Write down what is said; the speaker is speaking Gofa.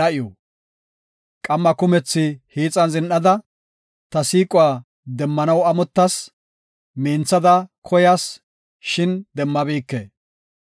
Qamma kumethi hiixan zin7ada, ta siiquwa demmanaw amottas; minthada koyas; shin demmabike.